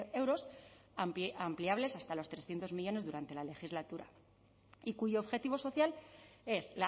euros ampliables hasta los trescientos millónes durante la legislatura y cuyo objetivo social es